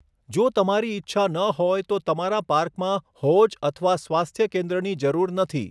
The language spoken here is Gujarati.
જો તમારી ઇચ્છા ન હોય તો તમારા પાર્કમાં હોજ અથવા સ્વાસ્થ્ય કેન્દ્રની જરૂર નથી.